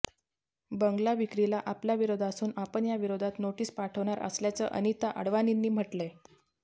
बंगला विक्रीला आपला विरोध असून आपण याविरोधात नोटीस पाठवणार असल्याचं अनिता अडवाणींनी म्हटलंय